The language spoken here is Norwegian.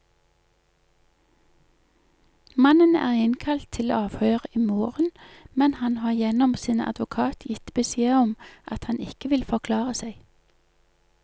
Mannen er innkalt til avhør i morgen, men han har gjennom sin advokat gitt beskjed om at han ikke vil forklare seg.